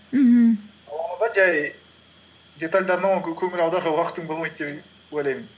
мхм жай детальдарына көңіл аударуға уақытың болмайды деп ойлаймын